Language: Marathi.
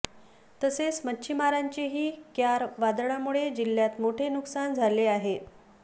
तसेच मच्छिमारांचेही क्यार वादळामुळे जिल्हय़ात मोठे नुकसान झाले आहे